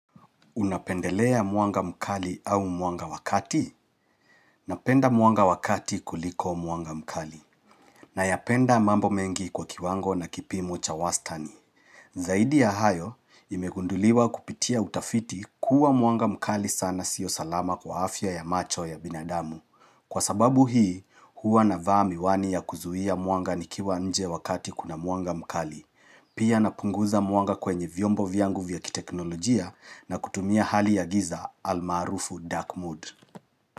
Unapendelea mwanga mkali au mwanga wa kati? Napenda mwanga wa kati kuliko mwanga mkali nayapenda mambo mengi kwa kiwango na kipimo cha wastani. Zaidi ya hayo, imegunduliwa kupitia utafiti kuwa mwanga mkali sana sio salama kwa afya ya macho ya binadamu. Kwa sababu hii, huwa na vaa miwani ya kuzuia mwanga nikiwa nje wakati kuna mwanga mkali. Pia napunguza mwanga kwenye vyombo vyangu vya kiteknolojia na kutumia hali ya giza almarufu dark mood.